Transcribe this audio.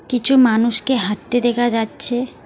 কিছু মানুষকে হাঁটতে দেখা যাচ্ছে।